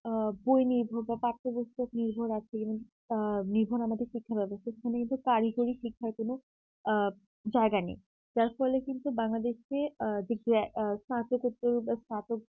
আ বই নির্ভর বা পাঠ্যপুস্তক নির্ভর আছে যেমন আহ নির্ভর আমাদের শিক্ষা ব্যবস্থা যেখানে কিন্তু কারিগরিক শিক্ষার কোন আ জায়গা নেই যার ফলে কিন্তু বাংলাদেশে আ দি গ্রে স্থাপকত্য বা স্থাপ